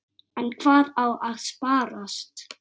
En hvað á að sparast?